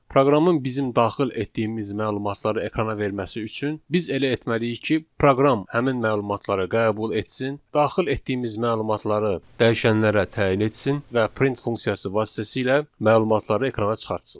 Proqramın bizim daxil etdiyimiz məlumatları ekrana verməsi üçün biz elə etməliyik ki, proqram həmin məlumatları qəbul etsin, daxil etdiyimiz məlumatları dəyişənlərə təyin etsin və print funksiyası vasitəsilə məlumatları ekrana çıxartsın.